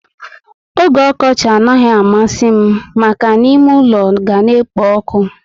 Ógè okochi anaghị amasi m maka ná ime ule ga na ekpo ọkụ